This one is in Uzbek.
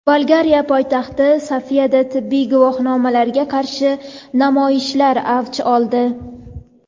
Bolgariya poytaxti Sofiyada tibbiy guvohnomalarga qarshi namoyishlar avj oldi.